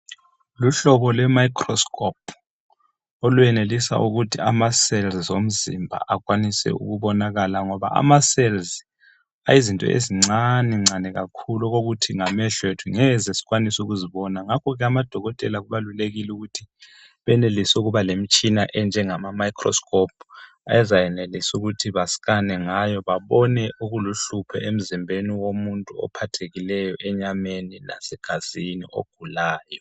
Lumhlobo lwe micro scope olwenelisa ukuth ama cells omzimba akwanise ukubonakala ngoba ama cells ayizinto ezincanencane kakhulu okokuthi ngamehlo ethu ngeze sikwanise ukuzibona ngakhoke amadokotela kubalulekile ukuthi benelise ukuba lemitshina enjengama-microscope ezayenelisa ukuthi basikane ngayo babone okuluhlupho emzimbeni womuntu ophathekileyo enyameni lasegazini ogulayo.